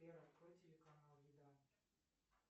сбер открой телеканал еда